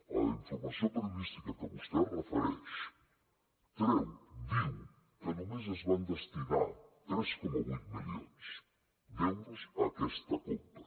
a la informació periodística que vostè es refereix treu diu que només es van destinar tres coma vuit milions d’euros a aquesta compra